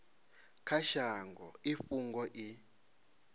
kha shango i fhungo i